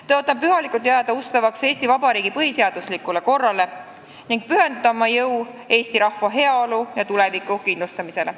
Tõotan pühalikult jääda ustavaks Eesti Vabariigi põhiseaduslikule korrale ning pühendada oma jõu eesti rahva heaolu ja tuleviku kindlustamisele.